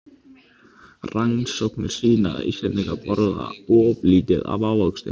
Rannsóknir sýna að Íslendingar borða of lítið af ávöxtum.